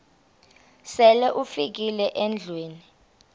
sele ufikile endlwini